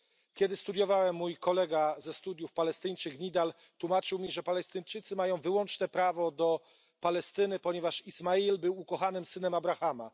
Kiedy studiowałem, mój kolega ze studiów, Palestyńczyk Nidal, tłumaczył mi, że Palestyńczycy mają wyłączne prawo do Palestyny, ponieważ Ismail był ukochanym synem Abrahama.